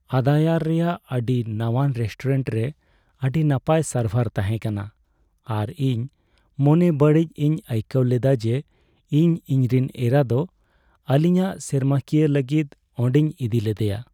ᱟᱫᱟᱭᱟᱨ ᱨᱮᱭᱟᱜ ᱟᱹᱰᱤ ᱱᱟᱶᱟᱱ ᱨᱮᱥᱴᱩᱨᱮᱱᱴ ᱨᱮ ᱟᱹᱰᱤ ᱱᱟᱯᱟᱭ ᱥᱟᱨᱵᱷᱟᱨ ᱛᱟᱦᱮᱸ ᱠᱟᱱᱟ ᱟᱨ ᱤᱧ ᱢᱚᱱᱮ ᱵᱟᱲᱤᱡ ᱤᱧ ᱟᱹᱭᱠᱟᱹᱣ ᱞᱮᱫᱟ ᱡᱮ ᱤᱧ ᱤᱧᱨᱮᱱ ᱮᱨᱟ ᱫᱚ ᱟᱹᱞᱤᱧᱟᱜ ᱥᱮᱨᱢᱟᱠᱤᱭᱟᱹ ᱞᱟᱹᱜᱤᱫ ᱚᱸᱰᱮᱧ ᱤᱫᱤ ᱞᱮᱫᱮᱭᱟ ᱾